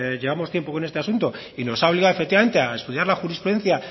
llevamos tiempo con este asunto y nos ha obligado efectivamente a estudiar la jurisprudencia